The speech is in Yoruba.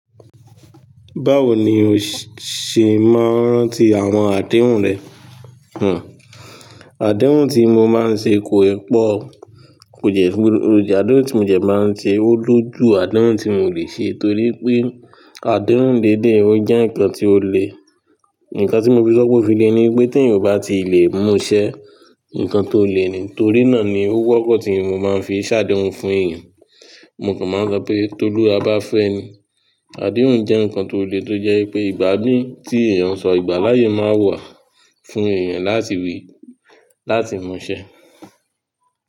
Báwo ni o ṣe máa ń rántí àwọn àdéhùn rẹ? Hm, àdéhùn tí mo máa ń ṣe kò i pọ̀, kò jẹ́ pé, àdéhùn tí mo jẹ máa ń ṣe ó lójú àdéhùn tí n ò lè ṣe torí pé àdéhùn dédé ó jẹ́ ǹkan tí ó le. Ǹkan tí mo fi sọ pé ó fi lè ni pé tí èèyàn ò bá ti ì lè múṣẹ́, ǹkan tó lè ni, torí náà ni ó wọ́pọ̀ tí mo máa ń fi ṣàdéhùn fún èèyàn. Mo kàn máa ń sọ pé "tolúwá bá fẹ́ ni". Àdéhùn jẹ́ ǹkan tó le tó jẹ́ ipé ìgbà mí tí èèyàn sọ ìgbà láyé máa wà fún èèyàn láti wí, láti múṣẹ́.